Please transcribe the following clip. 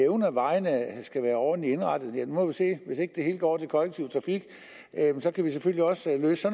om at vejene skal være ordentligt indrettet vil jeg må vi se hvis ikke det hele går til kollektiv trafik kan vi selvfølgelig også løse